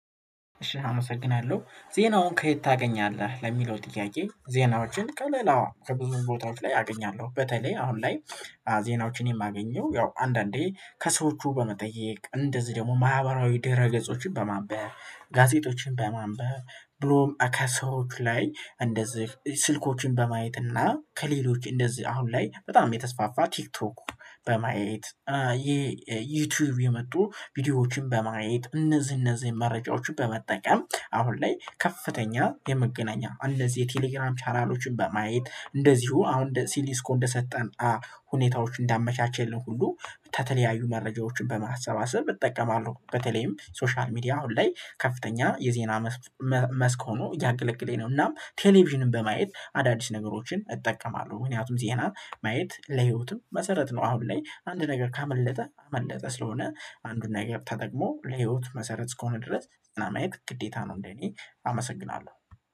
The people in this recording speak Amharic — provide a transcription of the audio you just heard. እሺ አመሰግናለሁ። ዜናውን ከየት ታገኛለህ? ለሚለው ጥያቄ ዜናዎችን ከለላዋ ከብዙ ቦታዎች ላይ አገኛለሁ በተለይ አሁን ላይ ዜናዎችን የማገኘው ያው አንዳንዴ ከሰዎቹ በመጠየቅ እንደዚህ ደግሞ ማህበራዊ ድረ ገጾችን በማንበብ፣ ጋዜጦችን በማንበብ፣ ብሎም ከሰዎች ላይ እንደዚህ ስልኮችን በማየት እና ከሌሎች እንደዚህ አሁን ላይ በጣም የተስፋፋ ቲክቶክ በማየት ይሄ ዩቲዩብ የመጡ ቪዲዮዎችን በማየት እነዚህ እነዚህ መረጃዎችን በመጠቀም አሁን ላይ ከፍተኛ የመገናኛ እንደዚህ የቴሌግራም ቻናሎችን በማየት እንደዚሁ አሁን ሲሊስኮ እስኮ እንደሰጠን ሁኔታዎች እንዳመቻቸልን ሁሉ ተተለያዩ መረጃዎችን በማሰባሰብ እጠቀማለሁ በተለይም ሶሻል ሚዲያ አሁን ላይ ከፍተኛ የዜና መስክ ሆኖ እያገለገሌ ነው፤ እናም ቴሌቪዥንም በማየት አዳዲስ ነገሮችን እጠቀማለሁ፤ ምክንያቱም ዜና ማየት ለህይወትም መሰረት ነው አሁን ላይ አንድ ነገር ካመለጠ አመለጠ ስለሆነ አንዱና ነገር ተጠቅሞ ለህይወት መሰረት እስከሆነ ድረስ ዘና ማየት ግዴታ ነው እንደ እኔ አመሰግናለሁ።